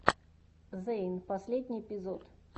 зэйн последний эпизод